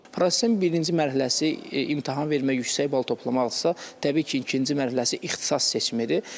Prosesin birinci mərhələsi imtahan vermək yüksək bal toplamaqdırsa, təbii ki, ikinci mərhələsi ixtisas seçimidir.